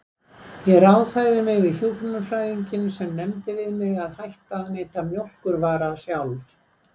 Ég ráðfærði mig við hjúkrunarfræðinginn sem nefndi við mig að hætta að neyta mjólkurvara sjálf.